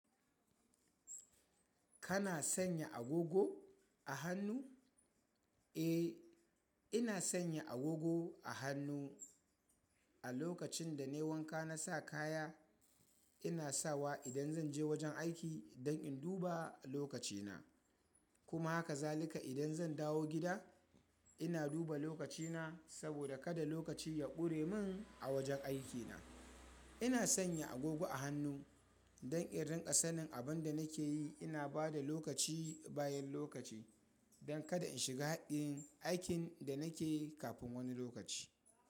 Kana sanya agogo a hannu? Eh, ina sanya agogo a hannu a lokacin da na yi wanka na sa kaya. Ina sawa idan zan je wajen aiki don in duba lokacina. Kuma haka zalika idan zan dawo gida ina duba lokacina saboda kada lokaci ya ƙure min a wajen aikina. Ina sanya agogo a hannu don in rinƙa sanin abin da nake yi. Ina bada lokaci bayan lokaci don kada in shiga haɗin aikin da nake yi kafin wani lokaci.